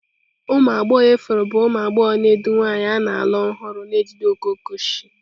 Ụmụ agbọghọ ifuru bụ ụmụ agbọghọ na-edu nwanyị a na-alụ ọhụrụ na-ejide okooko osisi.